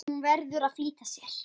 Hún verður að flýta sér.